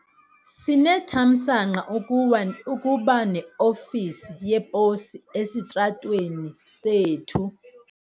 Sinethamsanqa ukuba neofisi yeposi esitratweni sethu.